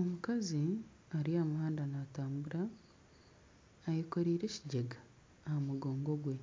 Omukazi ari aha muhanda naatambura, eyekoreire ekigyega aha mugongo gwe